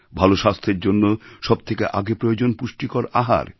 ভালো স্বাস্থ্যের জন্য সব থেকে আগে প্রয়োজন পুষ্টিকর আহার